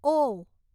ઓ